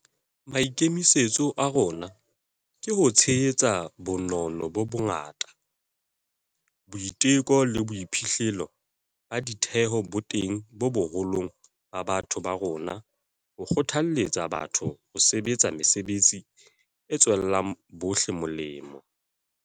Maikemisetso a rona ke ho tshehetsa bonono bo bongata, boiteko le boiphihlo ba ditheho bo teng boholong ba batho ba rona ho kgothaletsa batho ho sebetsa mesebetsi e tswelang bohle melemo.